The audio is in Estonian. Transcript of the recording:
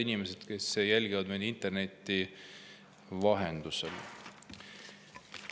Head inimesed, kes jälgivad meid interneti vahendusel!